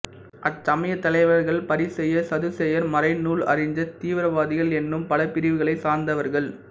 அச்சமயத் தலைவர்கள் பரிசேயர் சதுசேயர் மறைநூல் அறிஞர் தீவிரவாதிகள் என்னும் பல பிரிவுகளைச் சார்ந்தவர்கள்